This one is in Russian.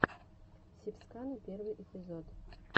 сибскана первый эпизод